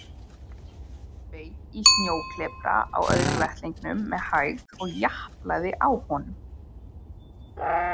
Beit í snjóklepra á öðrum vettlingnum með hægð og japlaði á honum.